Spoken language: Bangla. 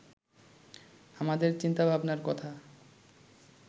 আমাদের চিন্তাভাবনার কথা